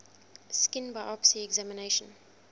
skin biopsy examination